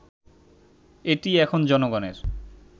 এটি এখন জনগণের